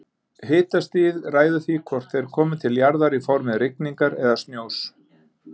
Hitastigið ræður því hvort þeir komi til jarðar í formi rigningar eða snjós.